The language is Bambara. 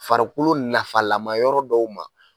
Farikolo nafalama yɔrɔ dɔw ma.